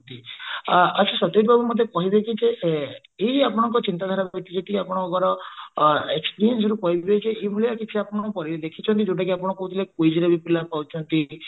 ଆଛା ସତେଜ ବାବୁ ମତେ କହିବେ କି ଯେ ଏଇ ଆପଣଙ୍କ ଚିନ୍ତାଧାରା ଆପଣଙ୍କ experience ରୁ କହିବେ କି କିଛିଆପଣ ଦେଖିଛନ୍ତି ଯୋଉଟା କି ଆପଣ କହୁଥିଲେ quiz ରେ ବି ପିଲା ପାଉଛନ୍ତି